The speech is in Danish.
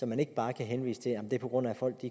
man ikke bare kan henvise til at det er på grund af at folk